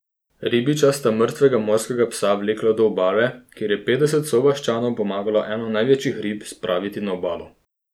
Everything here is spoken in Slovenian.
Ribiča sta mrtvega morskega psa vlekla do obale, kjer je petdeset sovaščanov pomagalo eno največjih rib spraviti na obalo.